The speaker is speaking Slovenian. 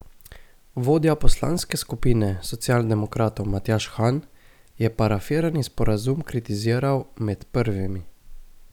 Vodja poslanske skupine socialdemokratov Matjaž Han je parafirani sporazum kritiziral med prvimi.